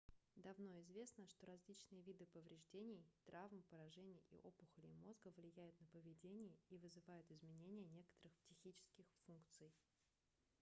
давно известно что различные виды повреждений травм поражений и опухолей мозга влияют на поведение и вызывают изменения некоторых психических функций